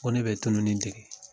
Ko ne bɛ tununi dege